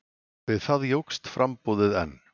Við það jókst framboðið enn.